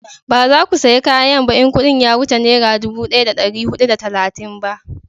ba za ku saya kayan ba in kudin ya wuce nera dubu daya da dari hudu da talatin ba